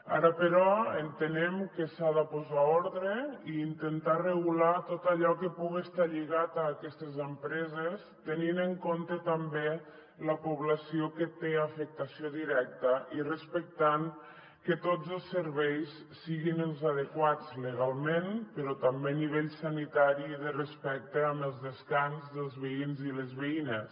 ara però entenem que s’ha de posar ordre i intentar regular tot allò que puga estar lligat a aquestes empreses tenint en compte també la població que té afectació directa i respectant que tots els serveis siguin els adequats legalment però també a nivell sanitari i de respecte amb el descans dels veïns i les veïnes